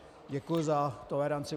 Děkuji za toleranci.